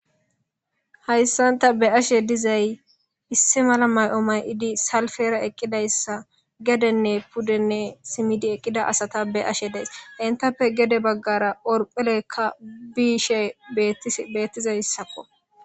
Hayssan ta be7ashe dizay Issi mala may7o may7idi salfera eqqidayssa gedenne puddenne simidi eqqida asata be7ashe de7ays. Enttappe gede baggara orphilekka biishe beetis beettizayssakko.